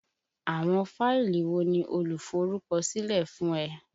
Àwọn fáìlì wo ni oluforukosile fún ẹ?